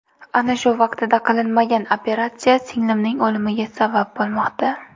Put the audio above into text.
Ana shu vaqtida qilinmagan operatsiya singlimning o‘limiga sabab bo‘lmoqda.